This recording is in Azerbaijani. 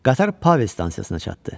Qatar Pavel stansiyasına çatdı.